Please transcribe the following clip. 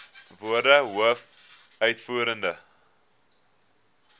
woorde hoof uitvoerende